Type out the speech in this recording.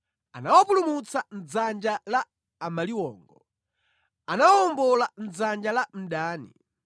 Anawapulumutsa mʼdzanja la amaliwongo; anawawombola mʼdzanja la mdani.